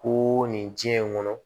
Ko nin diɲɛ in kɔnɔ